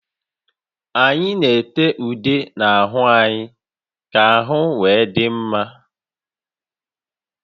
Anyị na-ete ude n'ahụ anyị ka ahụ wee dị mma